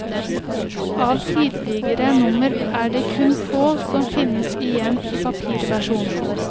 Av tidligere nummer er det kun få som finnes igjen i papirversjon.